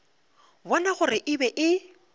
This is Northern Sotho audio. bona gore e be e